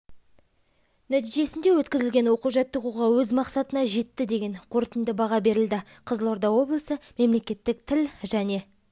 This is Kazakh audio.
нәтижесінде өткізілген оқу-жаттығуға өз мақсатына жетті деген қорытынды баға берілді қызылорда облысы мемлекеттік тіл және